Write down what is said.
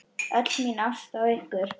Öll mín ást á ykkur.